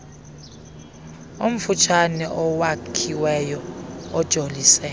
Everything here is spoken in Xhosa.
omfutshane owakhiweyo ojolise